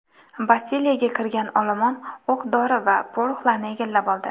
Bastiliyaga kirgan olomon o‘q-dori va poroxlarni egallab oldi.